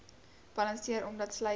balanseer omdat sluise